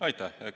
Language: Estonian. Aitäh!